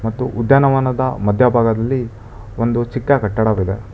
ಮತ್ತು ಉದ್ಯಾನವನದ ಮಧ್ಯಭಾಗದಲ್ಲಿ ಒಂದು ಚಿಕ್ಕ ಕಟ್ಟಡವಿದೆ.